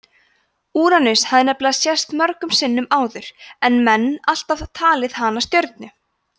úranus hafði nefnilega sést mörgum sinnum áður en menn alltaf talið hana stjörnu